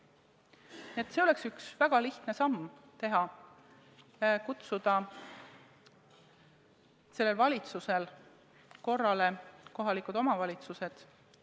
See oleks valitsusel üks väga lihtne samm teha: kutsuda kohalikud omavalitsused korrale.